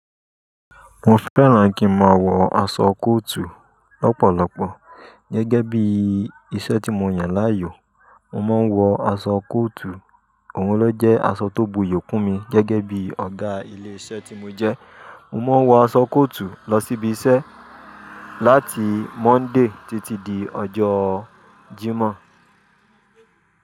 Mo fẹ́ràn kí n máa wọ aṣọ kóòtù lọ́pọ̀lọpọ̀. Gẹ́gẹ́ bí iṣẹ́ tí mo yàn láàyò, mo máa ń wọ aṣọ kóòtù. Òun ló jẹ́ aṣọ tó bo iyòkù mi gẹ́gẹ́ bí ọ̀gá ilé iṣẹ́ tí mo jẹ́. Mo máa ń wọ aṣọ kóòtù lọ síbi iṣẹ́ láti Monday títí di ọjọ́ Jímọ̀.